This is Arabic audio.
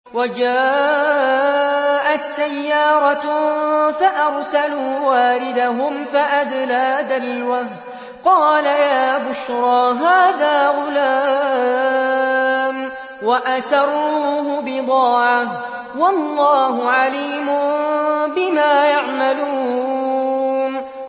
وَجَاءَتْ سَيَّارَةٌ فَأَرْسَلُوا وَارِدَهُمْ فَأَدْلَىٰ دَلْوَهُ ۖ قَالَ يَا بُشْرَىٰ هَٰذَا غُلَامٌ ۚ وَأَسَرُّوهُ بِضَاعَةً ۚ وَاللَّهُ عَلِيمٌ بِمَا يَعْمَلُونَ